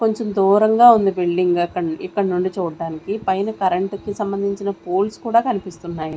కొంచెం దూరంగా ఉంది బిల్డింగ్ ఇక్కడి నుంచి చూడ్డానికి పైన కరెంట్ కి సంబంధించిన పోల్స్ కూడా కనిపిస్తున్నాయి.